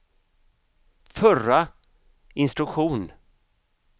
förra instruktion